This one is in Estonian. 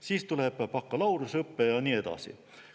Siis tuleb baka ja nii edasi.